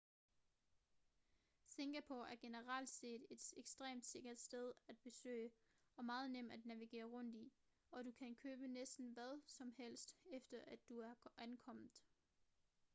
singapore er generelt set et ekstremt sikkert sted at besøge og meget nem at navigere rundt i og du kan købe næsten hvad som helst efter at du er ankommet